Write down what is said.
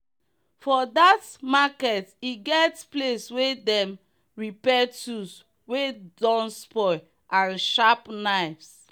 for that makert e get place wey them repair tools wey don spoil and sharp knives.